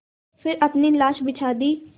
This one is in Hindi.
फिर अपनी लाश बिछा दी